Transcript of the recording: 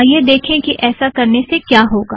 आईये देखें कि ऐसा करने से क्या होगा